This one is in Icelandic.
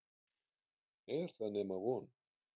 Er það nema von?